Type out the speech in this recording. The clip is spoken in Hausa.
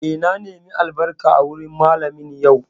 Eh, na nemi albarka wurin Mallamin yau